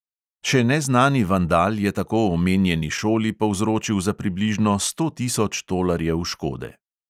Še neznani vandal je tako omenjeni šoli povzročil za približno sto tisoč tolarjev škode.